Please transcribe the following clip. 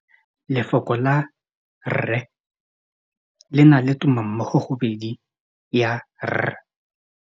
Lefoko la rre le na le tumammogôpedi ya, r.